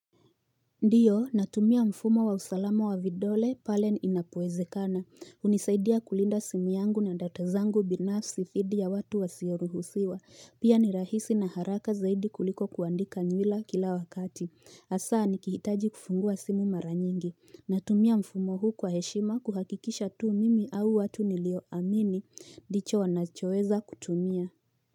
Ndiyo natumia mfumo wa usalama wa vidole pale inapoezekana unisaidia kulinda simu yangu na data zangu binafsi fidi ya watu wasioruhusiwa pia ni rahisi na haraka zaidi kuliko kuandika nywila kila wakati Hasaa nikihitaji kufungua simu mara nyingi natumia mfumo huu kwa heshima kuhakikisha tuu mimi au watu nilio amini dicho wanachoeza kutumia.